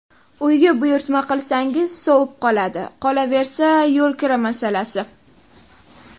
Uyga buyurtma qilsangiz sovib qoladi, qolaversa, yo‘lkira masalasi.